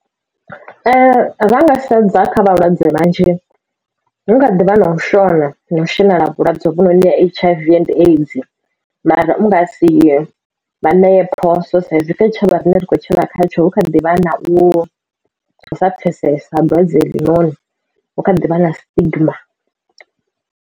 Ra nga sedza kha vhalwadze vhanzhi hukha ḓivha na u shona na u shonela vhulwadze hovhu noni ha H_I_V and AIDS mara u nga si vha ṋee phoso sa izwi kha tshitshavha rine ri kho tshila kha tsho hu kha ḓivha na u sa pfesesa dwadze iḽi noni hu kha ḓivha na stigma.